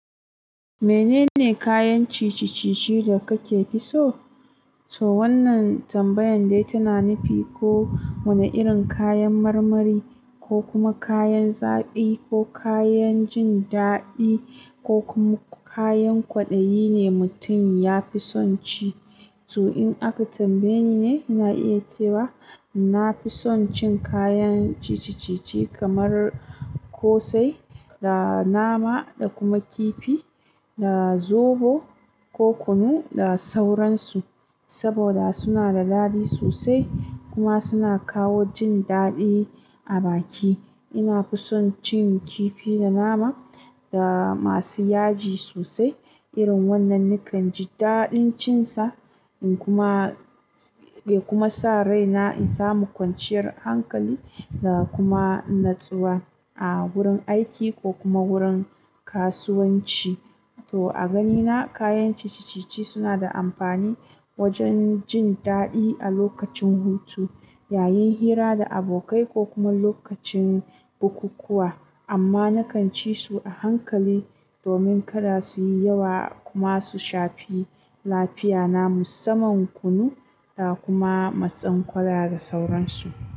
Menene kayan ciye ciye da kake fiso? To wannan tambayar dai tana nufi ko wane irin kayan marmari, ko kuma kayan zaƙi, ko kayan jin daɗi, ko kuma kayan kwaɗayi ne mutum ya fi son ci. To in aka tambaye ni ne, ina iya cewa na fi son cin kayan ciye ciye kamar ƙosai, da nama, da kuma kifi, da zobo, ko kunu da sauransu. Saboda suna da daɗi sosai kuma suna kawo jin daɗi a baki. Inafi son cin kifi da nama da masu yaji sosai. Irin wannan nakan ji daɗin cin sa, in kuma, ya kuma sa rai na in samu kwanciyar hankali da kuma natsuwa a wurin aiki ko kuma wurin kasuwanci. To a ganina kayan ciye ciye suna da amfani wajen jin daɗi a lokacin hutu, yayin hira da abokai ko kuma lokacin bukukuwa. Amma na kan ci su a hankali domin kada su yi yawa kuma su shafi lafiya namu. Saman kunu da kuma matsin ƙwallaya da sauransu.